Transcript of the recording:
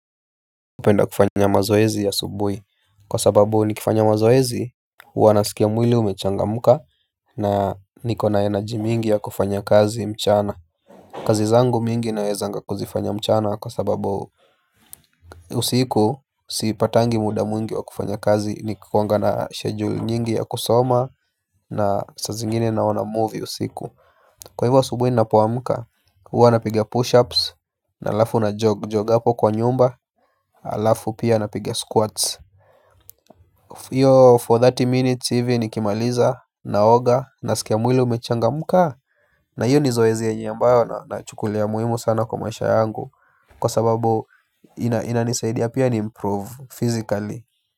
Hupenda kufanya mazoezi ya asubuhi kwa sababu nikifanya mazoezi huwa nasikia mwili umechangamka. Na niko na energy mingi ya kufanya kazi mchana. Kazi zangu mingi naezanga kuzifanya mchana kwa sababu usiku siipatangi muda mwingi wa kufanya kazi nikuanga na schedule nyingi ya kusoma. Na saa zingine naona movie usiku. Kwa hivyo asubuhi ninapoamka hwa napiga pushups alafu najog-jog apo kwa nyumba. Alafu pia napiga squats hiyo for thelathini minutes hivi nikimaliza naoga nasikia mwili umechangamka. Na hiyo zoezi yenye ambayo nachukulia muhimu sana kwa maisha yangu. Kwa sababu inanisaidia pia ni improve physically.